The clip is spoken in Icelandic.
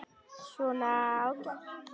Svona, ágætt.